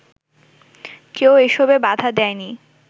কেউ এসবে বাধা দেয়নি